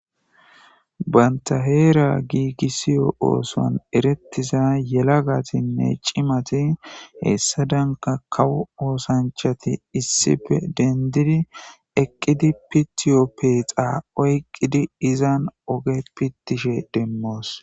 Banta heera giigisiyo ooson erettiza yela gatinne cimati hessa danka kawu oosanchati issife dendidi eqqidi pitiyoppeexa oyqqidi izan oge pittishe demmoos.